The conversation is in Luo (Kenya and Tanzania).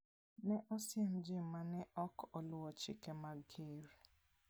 Ne osiem ji ma ne ok oluwo chike mag ker.